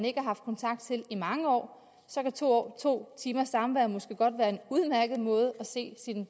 ikke har haft kontakt til i mange år så to timers samvær måske godt være en udmærket måde at se sine